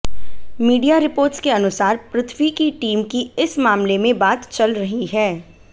media reports के अनुसार पृथ्वी की टीम की इस मामले में बात चल रही है